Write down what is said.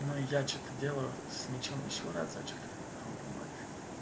я что-то делаю с мячом ещё разочек вот